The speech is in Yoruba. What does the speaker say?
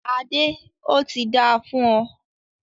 Adé, óti dáa fún ọ